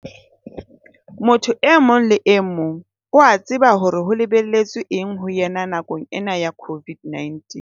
Motho e mong le emong o a tseba hore ho lebelletswe eng ho ena nakong ena ya COVID-19.